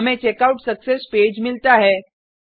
हमें checkout success page मिलता है